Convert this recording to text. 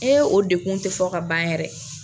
E o dekun tɛ fɔ ka ban yɛrɛ.